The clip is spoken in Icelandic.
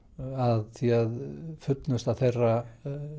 að því að fullnusta þeirra